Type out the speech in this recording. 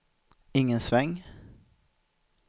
ingen sväng